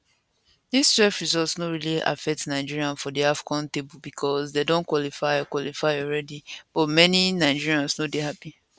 dis twelve result no really affect nigeria for di afcon table becos dem don qualify qualify alreadi but many nigerians no dey happi